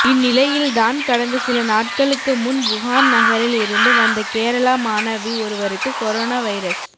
இந்நிலையில்தான் கடந்த சில நாட்களுக்கு முன் வுகான் நகரில் இருந்து வந்த கேரளா மாணவி ஒருவருக்கு கொரோனா வைரஸ்